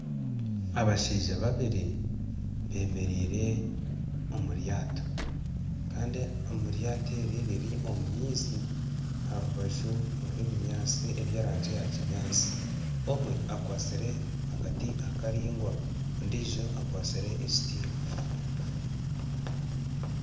Abashaija babiri bemereire omulyato Kandi elyato eri riri omu maizi aharubaju rwebinyansi eby'erangi ya kinyansi omwe akwasire akati akaringwa ondijo akwasire ekiti .